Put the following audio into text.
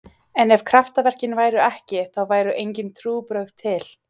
En ef kraftaverkin væru ekki, þá væru engin trúarbrögð til.